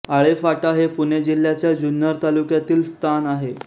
आळेफाटा हे पुणे जिल्ह्याच्या जुन्नर तालुक्यातील स्थान आहे